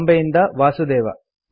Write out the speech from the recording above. ಬಾಂಬೆಯಿಂದ ವಾಸುದೇವ